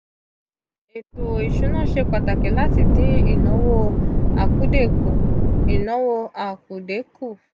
eto isuna se pataki lati din inawo akude ku. inawo akude ku.